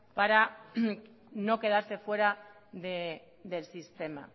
para no quedarse fuera del sistema